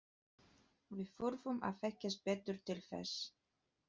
Við þurfum að þekkjast betur til þess.